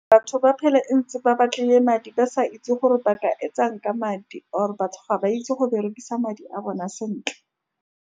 Batho ba phela, ntse ba batlile madi, ba sa itse gore ba ka etsang ka madi, or-e batho ga ba itse go berekisa madi a bona sentle.